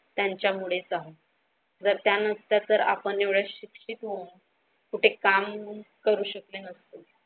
यांच्यामुळेच सह जर त्या नसतं तर आपण येवढे शिक्षित होऊन कुठे काम करू शकते नसतं.